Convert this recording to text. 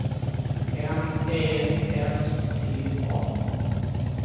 N Ä S T A